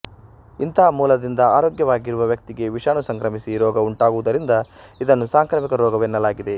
ಇಂಥ ಮೂಲದಿಂದ ಆರೋಗ್ಯವಾಗಿರುವ ವ್ಯಕ್ತಿಗೆ ವಿಷಾಣು ಸಂಕ್ರಮಿಸಿ ರೋಗ ಉಂಟಾಗುವುದರಿಂದ ಇದನ್ನು ಸಾಂಕ್ರಾಮಿಕ ರೋಗವೆನ್ನಲಾಗಿದೆ